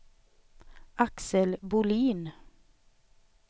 Axel Bohlin